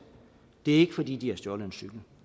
det er ikke fordi de har stjålet en cykel